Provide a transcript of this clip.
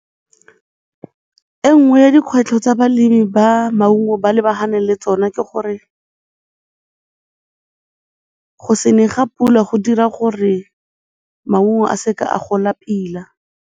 E nngwe ya dikgwetlho tsa balemi ba maungo ba lebaganeng le tsone ke gore go se ne ga pula go dira gore maungo a se ka a gola pila.